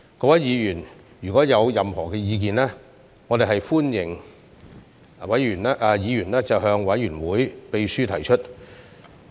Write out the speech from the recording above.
各位議員如有任何意見，歡迎向委員會秘書提出。